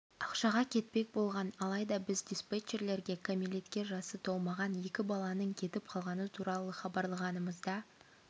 ақшаға кетпек болған алайда біз диспетчерлерге кәмелетке жасы толмаған екі баланың кетіп қалғаны туралы хабарлағанымызда